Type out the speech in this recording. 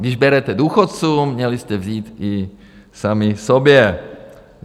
Když berete důchodcům, měli jste vzít i sami sobě.